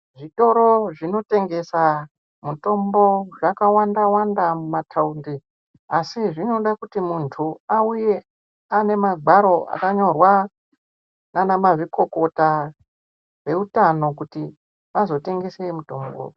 Zvitoro zvinotengesa mutombo zvakawanda wanda mumataundi asi zvinoda kuti muntu auye anemagwaro akanyorwa nana mazvikokota veutano kuti vazotengese mutombo.